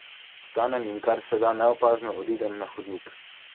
Vstanem in kar se da neopazno odidem na hodnik.